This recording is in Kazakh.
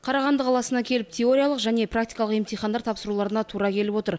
қарағанды қаласына келіп теориялық және практикалық емтихандар тапсыруларына тура келіп отыр